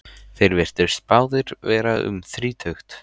Þeir virtust báðir vera um þrítugt.